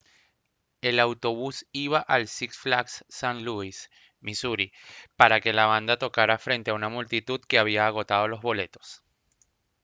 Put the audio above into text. el autobús iba al six flags st louis misuri para que la banda tocara frente a una multitud que había agotado los boletos